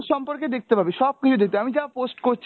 সম্পর্কে দেখতে পারবি, সবকিছু দেখতে পারবি, আমি যা post করছি